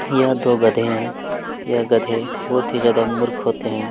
यह दो गधे है यह गधे बहुत ही ज्यादा मुर्ख होते है।